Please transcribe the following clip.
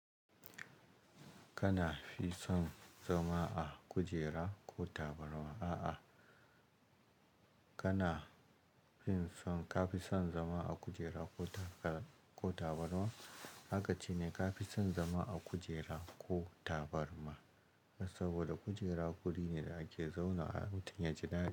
Kana fi son zama a kujera ko tabarma? A'a, kana fin son, ka fi son zama a kujera ko tabarma? Akace ne ka fi son zama a kujera ko tabarma saboda kujera wuri ne da ake zaunawa mutum yaji daɗi.